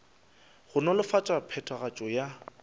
go nolofatša phethagatšo ya ditirelo